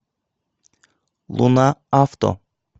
луна авто